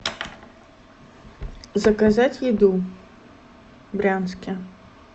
заказать еду в брянске